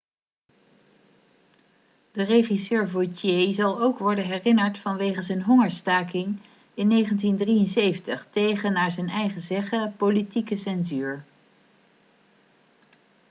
de regisseur vautier zal ook worden herinnerd vanwege zijn hongerstaking in 1973 tegen naar eigen zeggen politieke censuur